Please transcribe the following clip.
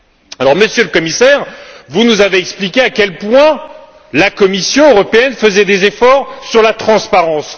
Alors, Monsieur le Commissaire, vous nous avez expliqué à quel point la Commission européenne faisait des efforts sur la transparence.